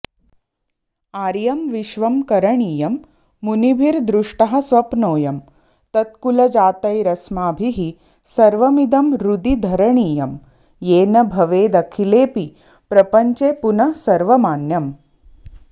आर्यं विश्वं करणीयं मुनिभिर्दृष्टः स्वप्नोऽयं तत्कुलजातैरस्माभिः सर्वमिदं हृदि धरणीयं येन भवेदखिलेऽपि प्रपञ्चे पुनः सर्वमान्यम्